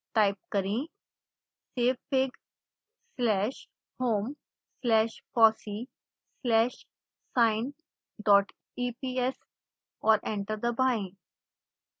type करें savefigslash home slash fossee slash sineeps और enter दबाएं